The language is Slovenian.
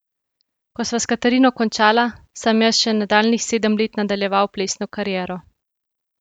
Ko sva s Katarino končala, sem jaz še nadaljnjih sedem let nadaljeval plesno kariero.